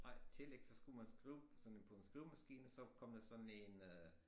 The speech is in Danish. Nej telex der skulle man skrive på sådan en på en skrivemaskine og så kom der sådan en øh